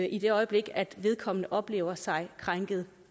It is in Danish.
i det øjeblik vedkommende oplever sig krænket